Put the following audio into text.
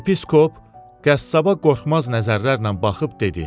Yepiskop qəssaba qorxmaz nəzərlərlə baxıb dedi: